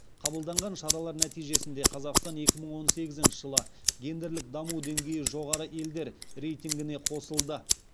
қабылданған шаралар нәтижесінде қазақстан екі мың он сегізінші жылы гендерлік даму деңгейі жоғары елдер рейтингіне қосылды